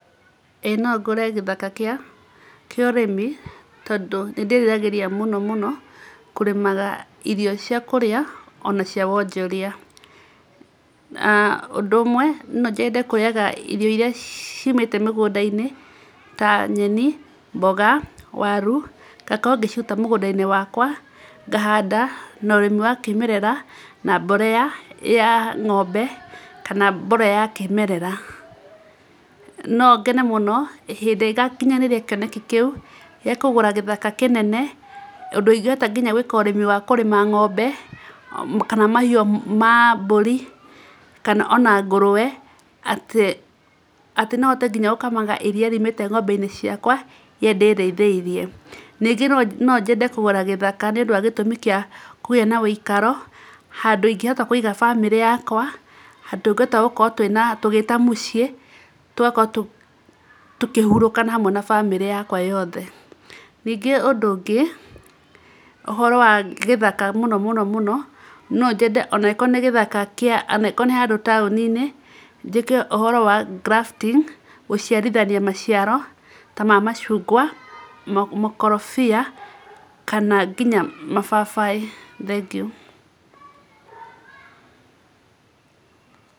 Ĩ, no ngũre gĩthaka kĩa ũrĩmi, tondũ nĩ ndĩ ĩriragĩria mũno mũno kũrĩmaga irio cia kũrĩa, o na cia wonjoria. Ũndũ ũmwe no nyende kũrĩaga irio iria ciimĩte mĩgũnda-inĩ ta nyeni, mboga, waru, ngakorwo ngĩciruta mũgũnda-inĩ wakwa, ngahanda na ũrĩmi wa kĩĩmerera na mborea ng'ombe kana mborera ya kĩĩmerera. No ngene mũno hĩndĩ ĩrĩa ngakinyanĩria kĩoneki kĩu gĩa kũgũra gĩthaka kĩnene, ũndũ ingĩhota nginya gwĩka ũrĩmi wa kũrĩma ng'ombe, kana mahiũ ma mbũri, kana o na ngũrũwe, atĩ atĩ no hote nginya no hote nginya gũkamaga iria riumĩte ng'ombe-inĩ ciakwa iria ndĩĩrĩithĩirie. Ningĩ no nyende kũgũra gĩthaka nĩ ũndũ wa gĩtũmi kĩa kũgĩa na wũikaro, handũ ingĩhota kũiga bamĩrĩ yakwa, handũ ngũhota gũkorwo twĩna tũgĩĩta mũciĩ, tũgakorwo tũkĩhurũka na hamwe na bamĩrĩ yakwa yothe. Ningĩ ũndũ ũngĩ, ũhoro wa gĩthaka, mũno mũno mũno, no nyende o na ĩgĩkorwo nĩ gĩthaka kia angĩkorwo nĩ handũ taũni-inĩ, njĩke ũhoro wa grafting, gũciarithania maciaro ta ma macungwa, makorobia, kana nginya mababaĩ, thengiũ.